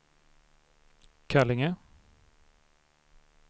Kallinge